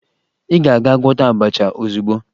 Ị ga-aga gwọta abacha ozugbo!